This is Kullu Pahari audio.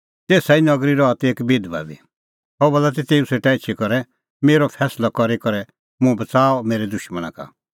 तेसा ई नगरी रहा ती एक बिधबा बी सह बोला ती तेऊ सेटा एछी करै मेरअ फैंसलअ करी करै मुंह बच़ाऊ मेरै दुशमणा का